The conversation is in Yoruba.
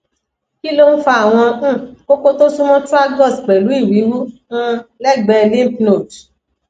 kí ló ń fa àwọn um koko tó súnmọ tragus pẹlú ìwiwu um lẹgbẹẹ lymph node